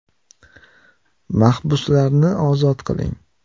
Mahbuslarni ozod qiling.